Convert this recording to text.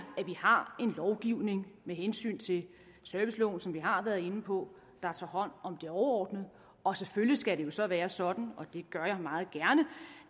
at vi har en lovgivning med hensyn til serviceloven som vi har været inde på der tager hånd om det overordnede og selvfølgelig skal det så være sådan og det gør jeg meget gerne